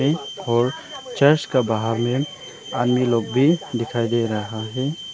और चर्च का बाहर में आदमी लोग भी दिखाई दे रहा है।